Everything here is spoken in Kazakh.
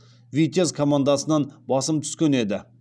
витязь командасынан басым түскен еді